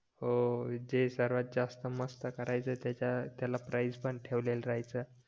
हो जे सर्वात जास्त मस्त करायचे त्याच्या त्याला प्राईझ पण ठेवलेलं राहायचं